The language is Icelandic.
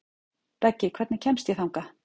Beggi, hvernig kemst ég þangað?